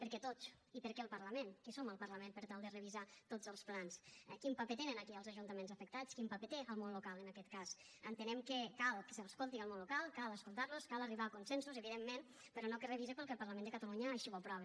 per què tots i per què el parlament qui som el parlament per tal de revisar tots els plans quin paper hi tenen aquí els ajuntaments afectats quin paper hi té el món local en aquest cas entenem que cal que s’escolti el món local cal escoltar los cal arribar a consensos evidentment però no que es revise perquè el parlament de catalunya així ho aprova